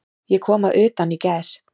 Ég kom að utan í gær.